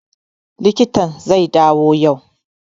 Likitan zai dawo yau